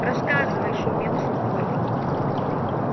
рассказывай шумел сухой